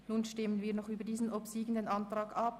Nun stimmen wir noch über diesen obsiegenden Antrag ab.